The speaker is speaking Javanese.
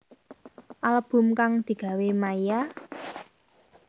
Album kang digawe Maia